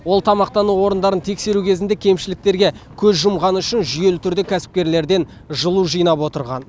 ол тамақтану орындарын тексеру кезінде кемшіліктерге көз жұмғаны үшін жүйелі түрде кәсіпкерлерден жылу жинап отырған